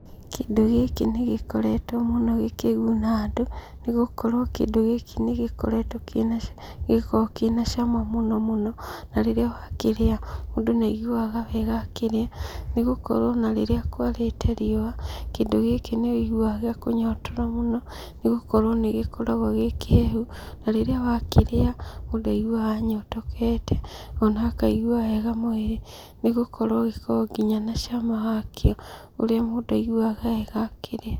Kĩndũ gĩkĩ nĩgĩkoretwo mũno gĩkĩguna andũ nĩgũkorwo kĩndũ gĩkĩ nĩgĩkoragwo na cama mũno mũno. Na rĩrĩa wakĩrĩa mũndũ nĩaiguaga wega akĩrĩa nĩgũkorwo ona rĩrĩa kwarĩte riũwa kĩndũ gĩkĩ nĩwũiguaga gĩakunyotora mũno nĩgũkorwo nĩgĩkoragwo kĩrĩ kĩhehu. Na rĩrĩa wakĩrĩa mũndũ aiguaga anyotokete ona akaigwa wega mwĩrĩ, nĩgũkorwo ona gĩkoragwo na cama wakĩo ũrĩa mũndũ aiguaga wega akĩrĩa.